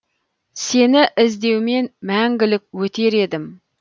сені іздеумен мәңгілік өтер едім